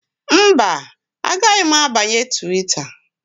Mba, agaghị m abanye Twita